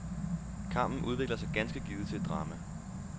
Kampen udvikler sig ganske givet til et drama.